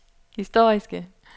historiske